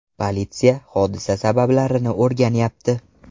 Politsiya hodisa sabablarini o‘rganyapti.